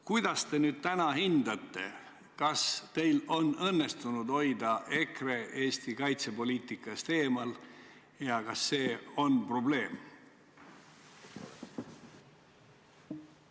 Kuidas te täna hindate, kas teil on õnnestunud hoida EKRE Eesti kaitsepoliitikast eemal ja kas see on probleem?